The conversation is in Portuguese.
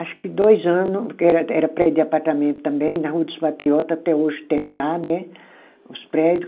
Acho que dois ano, porque era era prédio de apartamento também, na Rua dos Patriota até hoje tem lá né os prédio.